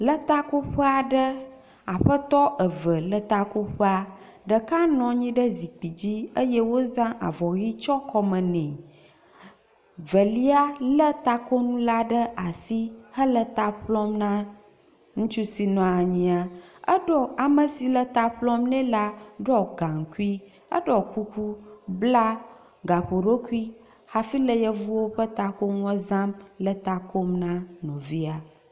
Le takoƒea ɖe, aƒetɔ eve le takoƒea, ɖeka nɔa nyi ɖe zikpui dzi eye wozã avɔ ʋi tsyɔ kɔme nɛ, velia lé takonu la ɖe asi hele ta ƒlɔm na ŋutsu si nɔa nyia. Eɖo ame si le ta ƒlɔm nɛ la ɖɔ gaŋkui, eɖɔ kuku, bla gaƒoɖokui hafi le yevuwo ƒe takoŋua zãm le ta kom na nɔvia.